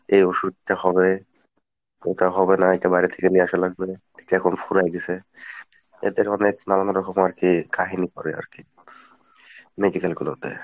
এই ওষুধ টা হবে এটা হবে না এটা বাইরে থেকে নিয়ে আসা লাগবে এখন ফুরায়ে গেছে এদের মানে নানান রকম আরকি কাহিনী করে আরকি medical গুলোতে।